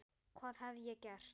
hvað hef ég gert?